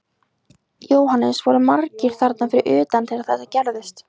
Jóhannes: Voru margir þarna fyrir utan þegar þetta gerðist?